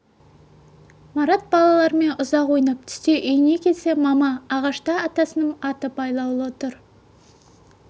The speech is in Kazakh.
марат балалармен ұзақ ойнап түсте үйіне келсе мама ағашта атасының аты байлаулы тұр